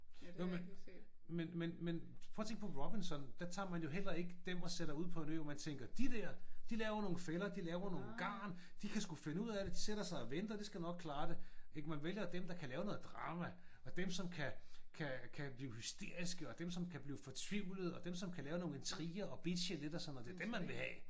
Nå men men men men prøv at tænk på Robinson. Der tager man jo heller ikke dem og sætter ud på en ø hvor man tænker de dér de laver nogle fælder de laver nogen garn. De kan sgu finde ud af det. De sætter sig og venter. Det kan nok klare det ik? Man vælger dem der kan lave noget drama og dem som kan kan kan blive hysteriske og dem som kan blive fortvivlede og dem som kan lave nogle intriger og bitche lidt og sådan noget Det er dem man vil have